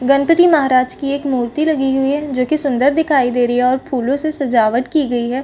गणपति महाराज की एक मूर्ति लगी हुई हैजो की सुन्दर दिखाई दे रही हैऔर फूलो से सजावट की गई है।